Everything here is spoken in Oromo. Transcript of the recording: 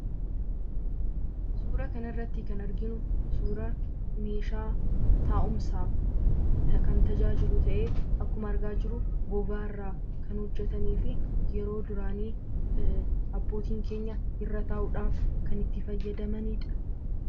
Suura kana irratti kan arginu meeshaa taa'umsaaf nutajaajilu ta'ee, akkuma argaa jirru gogaa irraa kan hojjetamefi yeroo duraanii abbootiin keenya irra taa'uudhaaf kan itti fayyadamanidha.